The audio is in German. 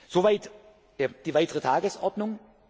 Soweit die weitere Tagesordnung